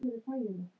Ég var frosin.